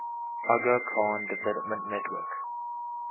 aga khan development network